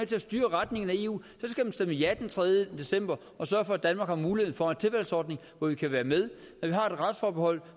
til at styre retningen af eu skal man stemme ja den tredje december og sørge for at danmark får mulighed for en tilvalgsordning hvor vi kan være med når vi har et retsforbehold